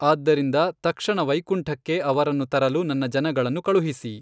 ಆದ್ದರಿಂದ ತಕ್ಷಣ ವೈಕುಂಠಕ್ಕೆ ಅವರನ್ನು ತರಲು ನನ್ನ ಜನಗಳನ್ನು ಕಳುಹಿಸಿ.